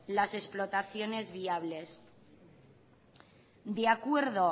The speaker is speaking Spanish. las explotaciones viables el acuerdo